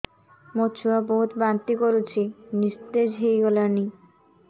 ମୋ ଛୁଆ ବହୁତ୍ ବାନ୍ତି କରୁଛି ନିସ୍ତେଜ ହେଇ ଗଲାନି